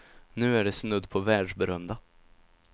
Nu är de snudd på världsberömda.